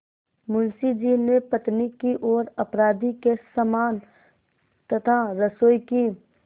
मुंशी जी ने पत्नी की ओर अपराधी के समान तथा रसोई की